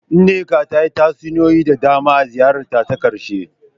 Nneka ta yi tatsuniyoyi da dama a ziyarar ta ta karshe.